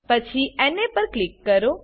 પછી ના પર ક્લિક કરો